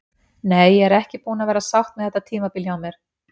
Nei, ég er ekki búin að vera sátt með þetta tímabil hjá mér.